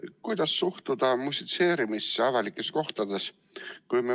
Kuidas suhtuda musitseerimisse avalikes kohtades?